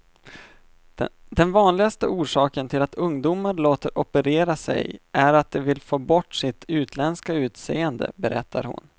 Den vanligaste orsaken till att ungdomar låter operera sig är att de vill få bort sitt utländska utseende, berättar hon.